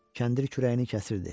Kəndir kürəyini kəsirdi.